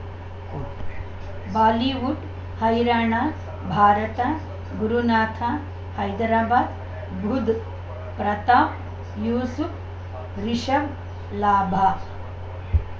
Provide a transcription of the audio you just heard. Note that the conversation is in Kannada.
ಉಂ ಬಾಲಿವುಡ್ ಹೈರಾಣ ಭಾರತ ಗುರುನಾಥ ಹೈದರಾಬಾದ್ ಬುಧ್ ಪ್ರತಾಪ್ ಯೂಸುಪ್ ರಿಷಬ್ ಲಾಭ